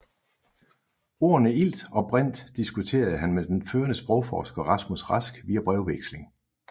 Ordene ilt og brint diskuterede han med den førende sprogforsker Rasmus Rask via brevveksling